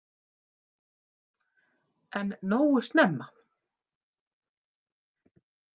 En nógu snemma.